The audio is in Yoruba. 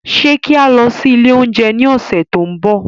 Ṣe ki a lọ si ile ounjẹ ni ọsẹ to nbọ?